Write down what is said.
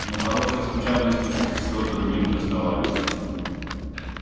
но хорошие случайности всё другим доставались